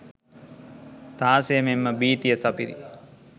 ත්‍රාසය මෙන්ම භීතිය සපිරි